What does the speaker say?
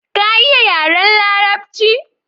Ka iya yaren larabci?